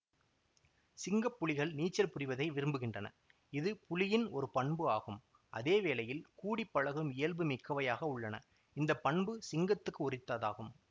சிங்கப்புலிகள் நீச்சல் புரிவதை விரும்புகின்றன இது புலியின் ஒரு பண்பு ஆகும் அதேவேளையில் கூடி பழகும் இயல்பு மிக்கவையாக உள்ளன இந்தப்பண்பு சிங்கத்துக்கு உரித்ததாகும்